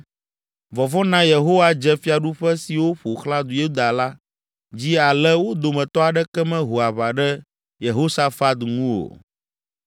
Vɔvɔ̃ na Yehowa dze fiaɖuƒe siwo ƒo xlã Yuda la dzi ale wo dometɔ aɖeke meho aʋa ɖe Yehosafat ŋu o.